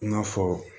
I n'a fɔ